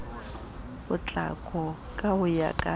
potlako ka ho ya ka